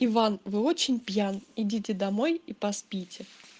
иван вы очень пьян идите домой и поспите